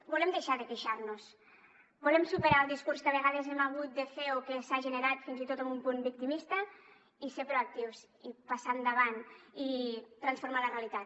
volem deixar de queixar nos volem superar el discurs que a vegades hem hagut de fer o que s’ha generat fins i tot amb un punt victimista i ser proactius i passar endavant i transformar la realitat